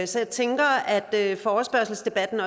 så jeg tænker at forespørgselsdebatten